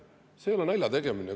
See ei ole naljategemine.